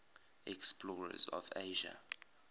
explorers of asia